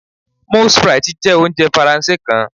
moules frites jẹ ounjẹ Faranse kan